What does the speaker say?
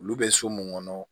Olu bɛ so mun kɔnɔ